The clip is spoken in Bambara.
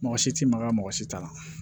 Mɔgɔ si ti maga mɔgɔ si t'a la